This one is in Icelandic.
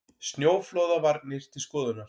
Snjóflóðavarnir til skoðunar